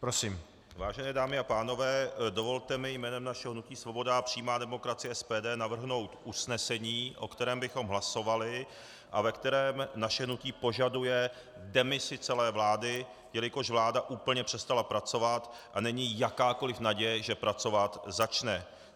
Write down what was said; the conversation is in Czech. Vážené dámy a pánové, dovolte mi jménem našeho hnutí Svoboda a přímá demokracie - SPD navrhnout usnesení, o kterém bychom hlasovali a ve kterém naše hnutí požaduje demisi celé vlády, jelikož vláda úplně přestala pracovat a není jakákoli naděje, že pracovat začne.